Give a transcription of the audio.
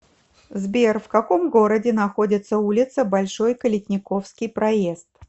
сбер в каком городе находится улица большой калитниковский проезд